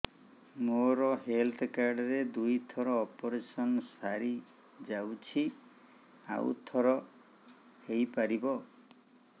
ମୋର health card ରେ ଦୁଇ ଥର ଅପେରସନ ସାରି ଯାଇଛି ଆଉ ଥର ହେଇପାରିବ